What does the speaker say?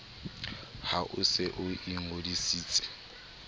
ha o se o ingodisitse